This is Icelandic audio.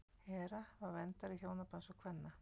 hera var verndari hjónabands og kvenna